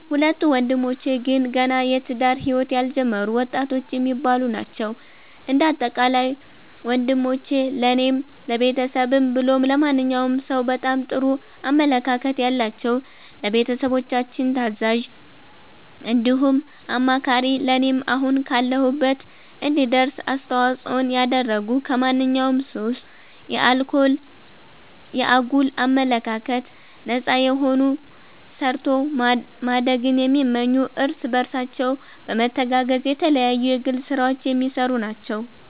ሁለቱ ወንድሞቼ ግን ገና የትዳር ህይወት ያልጀመሩ ወጣቶች የሚባሉ ናቸዉ። እንደ አጠቃላይ ወንሞቼ ለኔም ለቤተሰብም ብሎም ለማንኛዉም ሰዉ በጣም ጥሩ አመለካከት ያላቸዉ፣ ለቤተሰቦቻችን ታዛዥ እንዲሁም አማካሪ ለኔም አሁን ካለሁበት እንድደርስ አስተዋፅኦን ያደረጉ ከማንኛዉም ሱስ፣ ከአጉል አመለካከት ነፃ የሆኑ ሰርቶ ማደግን የሚመኙ እርስ በርሳቸው በመተጋገዝ የተለያዩ የግል ስራዎች የሚሰሩ ናቸዉ።